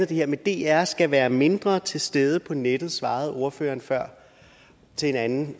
det her med at dr skal være mindre til stede på nettet det svarede ordføreren før til en anden